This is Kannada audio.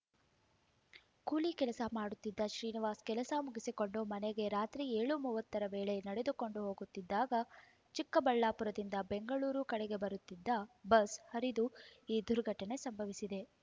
ಕೂಲಿ ಕೆಲಸ ಮಾಡುತ್ತಿದ್ದ ಶ್ರೀನಿವಾಸ್ ಕೆಲಸ ಮುಗಿಸಿಕೊಂಡು ಮನೆಗೆ ರಾತ್ರಿ ಏಳು ಮೂವತ್ತರ ವೇಳೆ ನಡೆದುಕೊಂಡು ಹೋಗುತ್ತಿದ್ದಾಗ ಚಿಕ್ಕಬಳ್ಳಾಪುರದಿಂದ ಬೆಂಗಳೂರು ಕಡೆಗೆ ಬರುತ್ತಿದ್ದ ಬಸ್ ಹರಿದು ಈ ದುರ್ಘಟನೆ ಸಂಭವಿಸಿದೆ